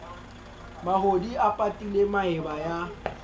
mahodi a patile maeba ya